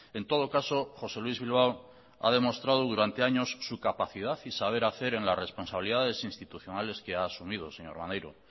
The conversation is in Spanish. en todo caso josé luis bilbao ha demostrado durante años su capacidad y saber hacer en las responsabilidades institucionales que ha asumido señor maneiro